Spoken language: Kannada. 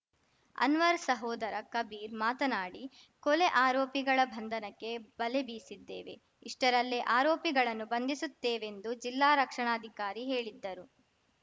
ಅನ್ವರ್‌ ಸಹೋದರ ಕಬೀರ್‌ ಮಾತನಾಡಿ ಕೊಲೆ ಆರೋಪಿಗಳ ಬಂಧನಕ್ಕೆ ಬಲೆ ಬೀಸಿದ್ದೇವೆ ಇಷ್ಟರಲ್ಲೇ ಆರೋಪಿಗಳನ್ನು ಬಂಧಿಸುತ್ತೇವೆಂದು ಜಿಲ್ಲಾ ರಕ್ಷಣಾಧಿಕಾರಿ ಹೇಳಿದ್ದರು